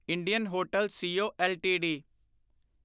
Indian hotel C O LTD